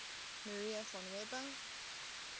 maria von weber